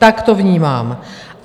Tak to vnímám.